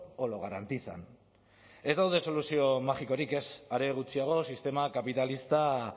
o lo garantizan ez daude soluzio magikorik ez are gutxiago sistema kapitalista